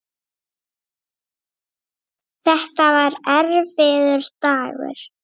Þetta var erfiður dagur.